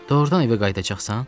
Doğrudan evə qayıdacaqsan?